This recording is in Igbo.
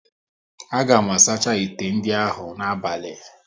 A ga m asacha ite ndị ahụ n'abali